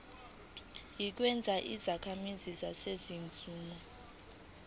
inikezwa izakhamizi zaseningizimu